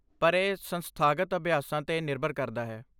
ਪਰ, ਇਹ ਸੰਸਥਾਗਤ ਅਭਿਆਸਾਂ 'ਤੇ ਨਿਰਭਰ ਕਰਦਾ ਹੈ